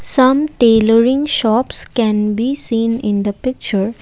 Some tailoring shops can be seen in the picture.